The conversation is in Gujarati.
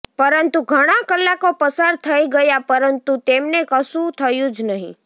પરંતુ ઘણાં કલાકો પસાર થઇ ગયા પરંતુ તેમને કશું થયું જ નહીં